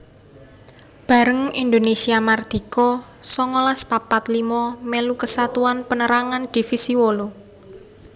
Bareng Indonésia mardika songolas papat limo mèlu Kesatuan Pénérangan Divisi wolu